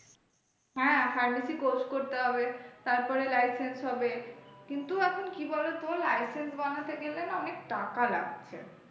হ্যাঁ pharmacy course করতে হবে তারপরে licence হবে কিন্তু এখন কি বলতো? licence বানাতে গেলে না অনেক টাকা লাগছে।